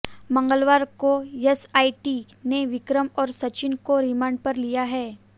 मंगलवार को एसआईटी ने विक्रम और सचिन को रिमांड पर लिया है